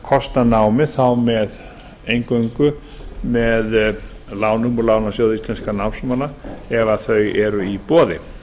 kosta námi eingöngu með láni frá lánasjóði íslenskra námsmanna ef þau eru í boði